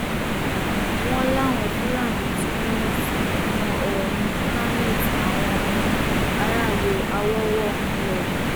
wọn láwọn fúlàní tún dáná sun iná oòrùn planet táwọn um aráàlú awọwọ ń lò um